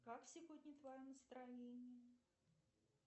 как сегодня твое настроение